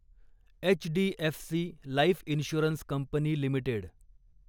HDFC life insurance company limited